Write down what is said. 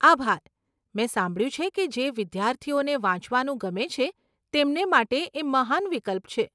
આભાર. મેં સાંભળ્યું છે કે જે વિદ્યાર્થીઓને વાંચવાનું ગમે છે તેમને માટે એ મહાન વિકલ્પ છે.